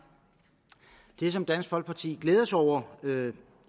det som dansk folkeparti glæder sig over